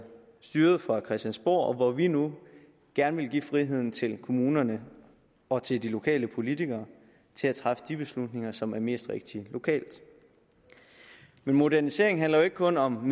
styret fra christiansborg og hvor vi nu gerne vil give friheden til kommunerne og til de lokale politikere til at træffe de beslutninger som er mest rigtige lokalt men modernisering handler jo ikke kun om